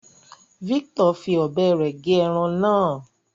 Victor fí ọbẹ rẹ gé ẹran náà